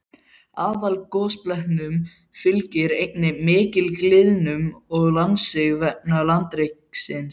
Aðalgosbeltunum fylgir einnig mikil gliðnun og landsig vegna landreksins.